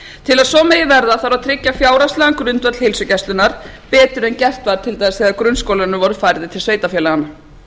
til að svo megi verða þarf að tryggja fjárhagslegan grundvöll heilsugæslunnar betur en gert var til dæmis þegar grunnskólarnir voru færðir til sveitarfélaganna